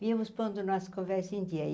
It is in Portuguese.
Víamos pondo nossa conversa em dia.